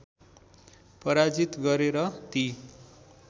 पराजित गरे र ती